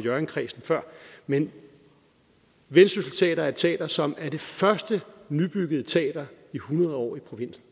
hjørring kredsen før men vendsyssel teater er et teater som er det første nybyggede teater i hundrede år i provinsen